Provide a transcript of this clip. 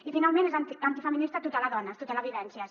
i finalment és antifeminista tutelar dones tutelar vivències